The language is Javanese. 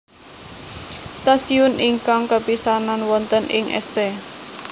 Stasiun ingkang kapisanan wonten ing St